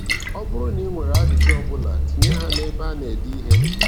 Ọ bụrụ na i nwere ajụjụ ọ bụla, tinye ha na-ebe a na-ede ihe.